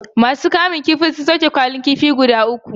Ma su kamun kifin sun sauke kwalin kifi guda uku